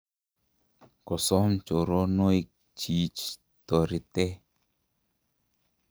kosom choronoikchich torite